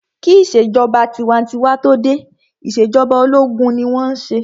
Kí ìṣèjọba tinwatinwa tó dé, ìṣèjọba ológun ni wọ́n n ṣe